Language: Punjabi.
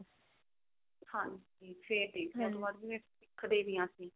ਹਾਂਜੀ ਫ਼ੇਰ ਠੀਕ ਹੈ ਉਹਤੋਂ ਬਾਅਦ ਸਿੱਖਦੇ ਵੀ ਹਾਂ ਅਸੀਂ